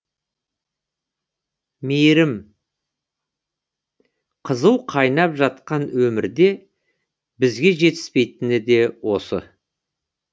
мейірім қызу қайнап жатқан өмірде бізге жетіспейтіне де осы